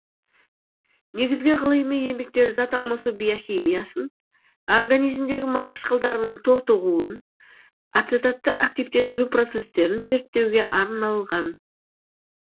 негізгі ғылыми еңбектері зат алмасу биохимиясын организмдегі май қышқылдарының тотығуын ацетатты активтендіру процестерін зерттеуге арналған